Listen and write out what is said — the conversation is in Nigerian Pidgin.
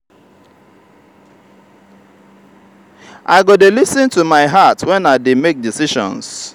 i go dey lis ten to my heart wen i dey make decisions.